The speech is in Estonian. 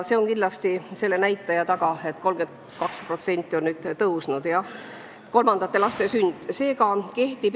See on kindlasti selle näitaja taga, et 32% on suurenenud, jah, kolmandate laste sündide arv.